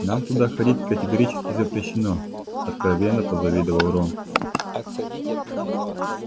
нам туда ходить категорически запрещено откровенно позавидовал рон